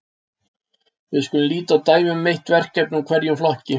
við skulum líta á dæmi um eitt verkefni úr hverjum flokki